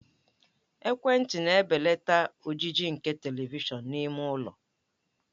Ekwentị na-ebelata ojiji nke Televishọn n'ime ụlọ.